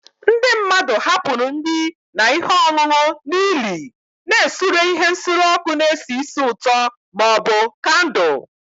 Ndị mmadụ hapụrụ nri na ihe ọṅụṅụ n'ili, na-esure ihe nsure ọkụ na-esi ísì ụtọ ma ọ bụ kandụl